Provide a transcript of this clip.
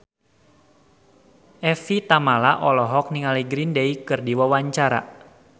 Evie Tamala olohok ningali Green Day keur diwawancara